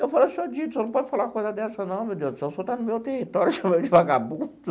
Eu falei, seu Dito, o senhor não pode falar uma coisa dessa não, meu Deus do céu, o senhor está no meu território e chamando de vagabundo?